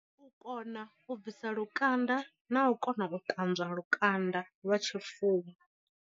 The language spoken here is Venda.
U kona u bvisa lukanda na u kona u ṱanzwa lukanda lwa tshifuwo.